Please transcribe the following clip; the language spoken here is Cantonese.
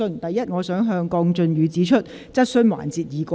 首先，我想向鄺俊宇議員指出，質詢環節已過。